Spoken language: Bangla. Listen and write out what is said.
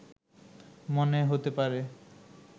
মনে হতে পারে